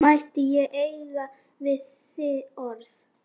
Mætti ég eiga við þig orð?